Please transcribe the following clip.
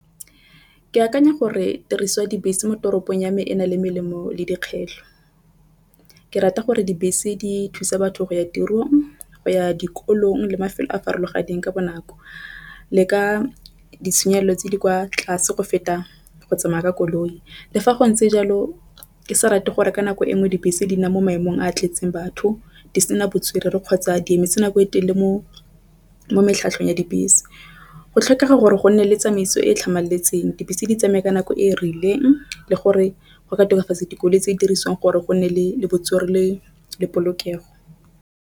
Ke akanya gore tiriso dibese mo toropong ya me e na le melemo le dikgetho. Ke rata gore dibese di thusa batho go ya tirong go ya dikolong le mafelo a a farologaneng ka bonako. Le ka ditshenyegelo tse di kwa tlase go feta go tsamaya ka koloi. Le fa go ntse jalo ke sa rate gore ka nako e nngwe dibese di na mo maemong a a tletseng batho di sena botswerere, kgotsa di emetse nako e telele mo metlheng ya dibese go tlhokega gore go nne le tsamaiso e e tlhamaletseng. Dibese di tsamaye ka nako e e rileng le gore go ka tokafatsa dikoloi tse dirisiweng gore go nne le le botswerere le polokego.